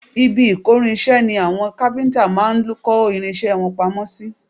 Ibi ìkórinṣẹ́ ni àwọn kápíntà máa ń kó irinṣẹ́ wọn pamọ́ sí